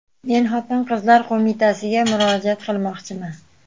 Men Xotin-qizlar qo‘mitasiga murojaat qilmoqchiman.